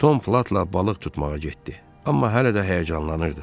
Tom Platla balıq tutmağa getdi, amma hələ də həyəcanlanırdı.